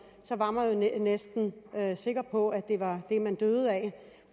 var man næsten sikker på at det var det man døde af